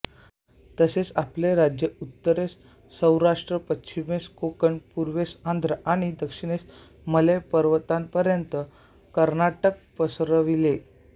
तसेच आपले राज्य उत्तरेस सौराष्ट्र पश्चिमेस कोकण पूर्वेस आंध्र आणि दक्षिणेस मलय पर्वतापर्यंत कर्नाटक पसरविले